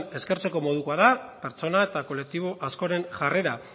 eskertzeko modukoa da pertsona eta kolektibo askoren jarrera